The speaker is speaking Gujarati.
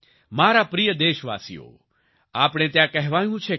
મારા પ્રિય દેશવાસીઓ આપણે ત્યાં કહેવાયું છે કે